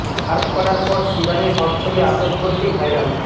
Surf করার পর শিবানীর হট ছবি আপলোড করতেই ভাইরাল